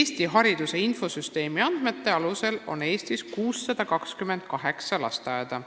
" Eesti hariduse infosüsteemi andmetel on Eestis 628 lasteaeda.